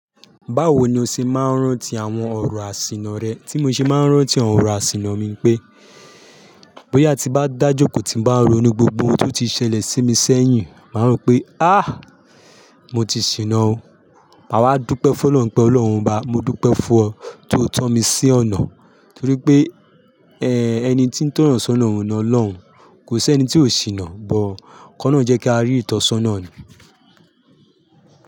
Báwo ni o ṣe máa ń rántí àwọn ọ̀rọ̀ àsìnà rẹ? Tí mo ṣe máa ń rántí àwọn ọ̀rọ̀ àsìnà mi pé, bóyá tí bá dájókòó tí bá rọ̀ ní gbogbo ohun tó ti ṣẹlẹ̀ sí mi sẹ́yìn, màá rántí pé á, mo ti ṣìnà ó. A wá dúpẹ́ fún Ọlọ́run pé Ọlọ́run bá mi, mo dúpẹ́ fún ọ tó tan mi sí ọ̀nà. Torí pé, ẹni tí ń tọyan sọ́nà òun náà lóhun, kò sí ẹni tí ò ṣìnà. But kolorun jẹ́ kí a rí ìtọ́sọ́nà ni.